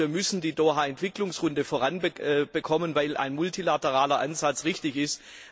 Klar ist Wir müssen die Doha Entwicklungsrunde voranbekommen, weil ein multilateraler Ansatz richtig ist.